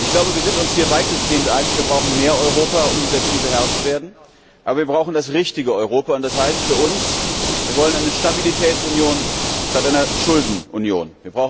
Ich glaube, wir sind uns hier weitestgehend einig, wir brauchen mehr Europa, um dieser Krise Herr zu werden. Aber wir brauchen das richtige Europa, und das heißt für uns Wir wollen eine Stabilitätsunion statt einer Schuldenunion.